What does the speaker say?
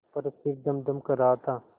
पर सिर धमधम कर रहा था